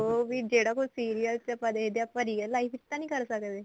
ਵੀ ਜਿਹੜਾ ਕੁੱਝ serial ਚ ਆਪਾਂ ਦੇਖਦੇ ਆ ਆਪਾਂ real life ਚ ਤਾਂ ਨਹੀਂ ਕਰ ਸਕਦੇ